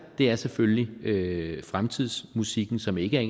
er selvfølgelig fremtidsmusikken som ikke er